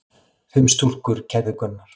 Fimm stúlkur kærðu Gunnar.